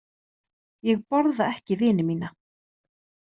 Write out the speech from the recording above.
Ég borða ekki vini mína.